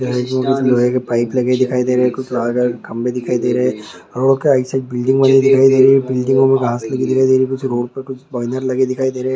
Road पर लोहे की कुछ पाइप लगी हुई ही दिखाई दे रही है कुछ लाल रंग खंभे दिखाई दे रहे है रोड के आई साइड बिल्डिंग बगैर दिखाई दे रही है बिल्डिंग रोड पे कुछ बैनर लगे हुए दिखाई दे रहे है ।